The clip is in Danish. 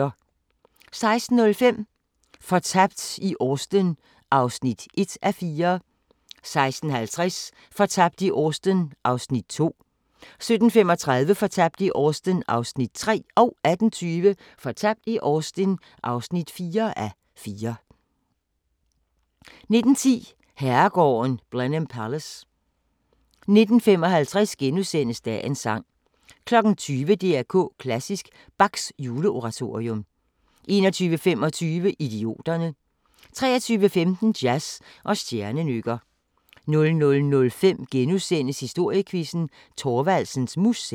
16:05: Fortabt i Austen (1:4) 16:50: Fortabt i Austen (2:4) 17:35: Fortabt i Austen (3:4) 18:20: Fortabt i Austen (4:4) 19:10: Herregården Blenheim Palace 19:55: Dagens sang * 20:00: DR K Klassisk: Bachs Juleoratorium 21:25: Idioterne 23:15: Jazz og stjernenykker 00:05: Historiequizzen: Thorvaldsens Museum *